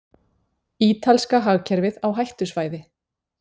Ítalska hagkerfið á hættusvæði